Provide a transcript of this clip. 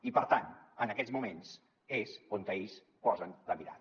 i per tant en aquests moments és on ells posen la mirada